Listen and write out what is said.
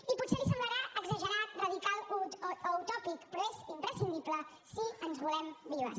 i potser li semblarà exagerat radical o utòpic però és imprescindible si ens volem vives